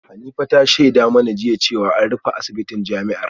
Hanifa ta shaida mana jiya cewa an rufe asibitin jami’ar